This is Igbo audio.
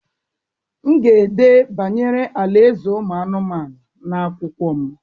m ga-ede banyere ala-eze anụmanụ n’akwụkwọ m.